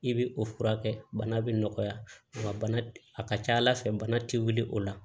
I bɛ o furakɛ bana bɛ nɔgɔya wa bana a ka ca ala fɛ bana ti wili o la